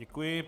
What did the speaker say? Děkuji.